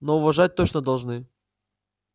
но уважать точно должны